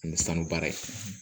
Ani sanu baara ye